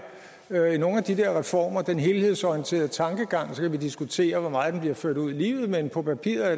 er i nogle af de der reformer og den helhedsorienterede tankegang så kan vi diskutere hvor meget den bliver ført ud i livet men på papiret er